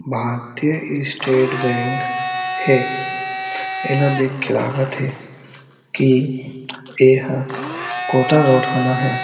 भारतीय State Bank हे एला देख के लागत हे कि एहा कोटा रोड कना हे।